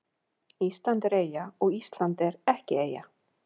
Ísland er eyja og Ísland er ekki eyja